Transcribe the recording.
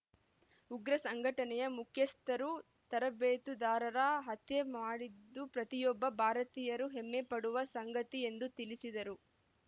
ಉಗ್ರ ಸಂಘಟನೆಯ ಮುಖ್ಯಸ್ಥರು ತರಬೇತುದಾರರ ಹತ್ಯೆ ಮಾಡಿದ್ದು ಪ್ರತಿಯೊಬ್ಬ ಭಾರತೀಯರು ಹೆಮ್ಮೆಪಡುವ ಸಂಗತಿ ಎಂದು ತಿಳಿಸಿದರು